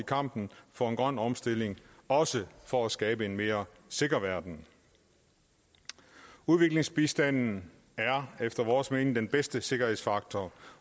kampen for en grøn omstilling også for at skabe en mere sikker verden udviklingsbistanden er efter vores mening den bedste sikkerhedsfaktor